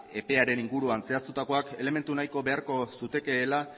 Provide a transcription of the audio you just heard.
epearen inguruan zehaztutakoak elementu nahiko beharko zukeela